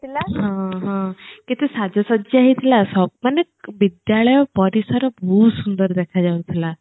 ହଁ ହଁ କେତେ ସାଜ ସଜ୍ୟା ହେଇଥିଲା ସବୁମାନେ ବିଦ୍ୟାଳୟ ପରିସର ବହୁତ ସୁନ୍ଦର ଦେଖା ଯାଉଥିଲା